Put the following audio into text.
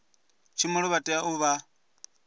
tshumelo vha tea u vha